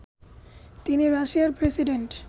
তিনি রাশিয়ার প্রেসিডেন্ট